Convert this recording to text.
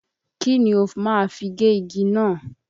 Kí ni o ma fi gé igi náà?